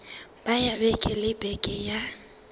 ya beke le beke ya